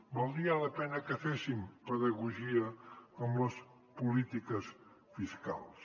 valdria la pena que féssim pedagogia amb les polítiques fiscals